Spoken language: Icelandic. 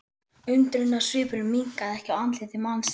Undrunarsvipurinn minnkaði ekki á andliti mannsins.